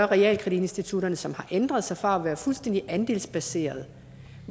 realkreditinstitutterne som har ændret sig fra at være fuldstændig andelsbaserede